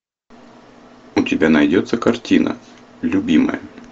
у тебя найдется картина любимая